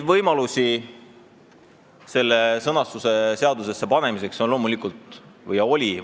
Võimalusi, kuidas seda sõnastust seadusesse panna, oli loomulikult palju.